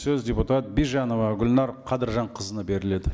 сөз депутат бижанова гүлнәр қадыржанқызына беріледі